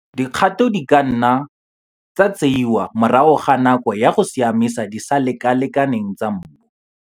Dikgato di ka nna tsa tseiwa morago ga nako go siamisa disalekalekane tsa mmu.